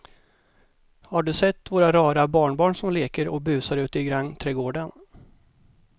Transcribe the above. Har du sett våra rara barnbarn som leker och busar ute i grannträdgården!